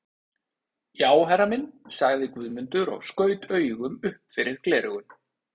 Já herra minn, sagði Guðmundur og skaut augum upp fyrir gleraugun.